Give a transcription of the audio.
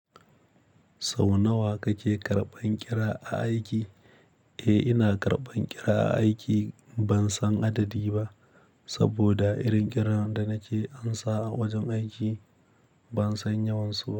Sau nawa kake karɓan ƙira a aiki? Eh ina karɓan ƙira a aiki ban san adadi ba, saboda irin ƙiran da nake amsa a wajen aiki ban san yawansu.